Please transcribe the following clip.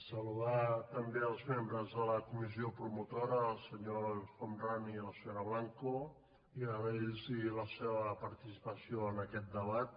saludar també els membres de la comissió promotora el senyor el homrani i la senyora blanco i agrair los la seva participació en aquest debat